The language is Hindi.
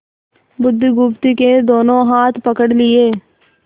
बुधगुप्त के दोनों हाथ पकड़ लिए